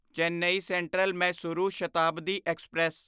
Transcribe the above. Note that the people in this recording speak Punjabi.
Chennai central Mysuru Shatabdi express